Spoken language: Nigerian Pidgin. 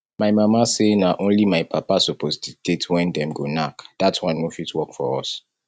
my mama say na only my papa suppose dictate when dem go knack dat one no fit work for us